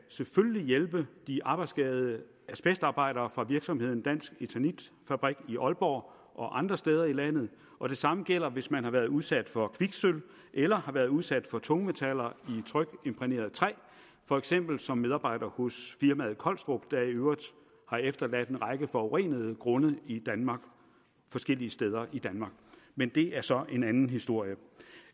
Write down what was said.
hjælpe de arbejdsskadede asbestarbejdere fra virksomheden dansk eternit fabrik i aalborg og andre steder i landet og det samme gælder hvis man har været udsat for kviksølv eller har været udsat for tungmetaller i trykimprægneret træ for eksempel som medarbejder hos firmaet collstrup der i øvrigt har efterladt en række forurenede grunde forskellige steder i danmark men det er så en anden historie